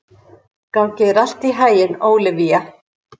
Gangi þér allt í haginn, Ólivía.